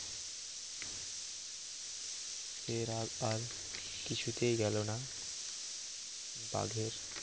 সে রাগ আর কিছুতেই গেল না বাঘের